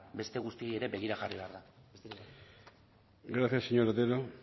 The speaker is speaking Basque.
beste guztia ere begira jarri behar da besterik ez gracias señor otero